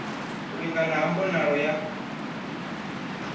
u lingana ha mbonalo ya